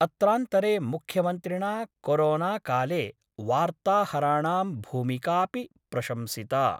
अत्रांतरे मुख्यमन्त्रिणा कोरोनाकाले वार्ताहराणां भूमिकापि प्रशंसिता।